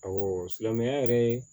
Awɔ silamɛya yɛrɛ ye